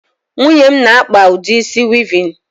Nwunye m na-akpa udi isi wịịvịn.